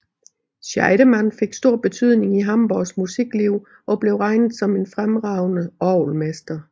Scheidemann fik stor betydning i Hamborgs musikliv og blev regnet som en fremragende orgelmester